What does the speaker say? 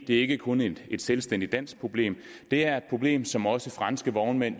det er ikke kun et selvstændigt dansk problem det er et problem som også franske vognmænd